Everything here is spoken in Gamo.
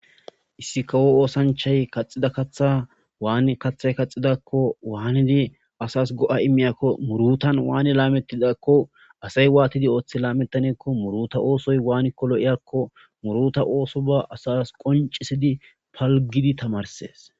Issi kawo oosanchay kaxida katha waani kathay kaxidakko waanidi asas go'a immiyakko murutan waani laamettidakko asay waatidi ooththi laametanekko muruta oosoy waanikko lo7iyakko muruta ooso ba asas qoncisidi palgidi tamarsees.